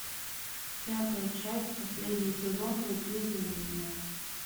пятая часть последний сезон благие знамения